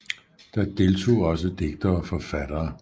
Der deltog også digtere og forfattere